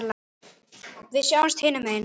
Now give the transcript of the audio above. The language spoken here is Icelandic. Við sjáumst hinum megin.